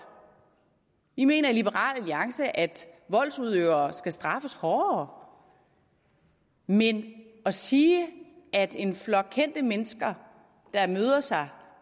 vi mener i liberal alliance at voldsudøvere skal straffes hårdere men at sige at en flok kendte mennesker der mødes